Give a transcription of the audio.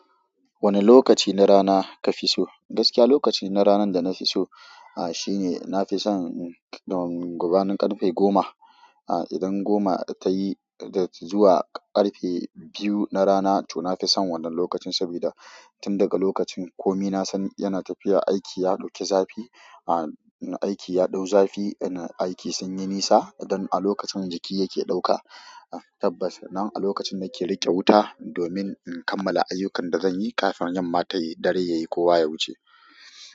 Wane lokaci na rana kafi so? Gaskiya lokaci na ranan da nafiso, ah shine nafison gum-gabanin ƙarfe goma. Ah idan goma da tayi da zuwa ƙarfe biyu na rana to nafi son wannan lokacin saboda tun daga lokacin komi nasan yana tafiya aiki ya ɗauki zafi ah, aiki ya ɗau zafi aiki sunyi nisa lokacin jiki yake ɗauka tabbas nan a lokacin nake riƙe wuta domin in kammala ayyukan da zanyi kafin yamma tayi dare yayi kowa ya wuce.